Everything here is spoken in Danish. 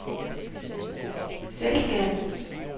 selskabets